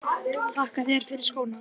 Þakka þér fyrir skóna.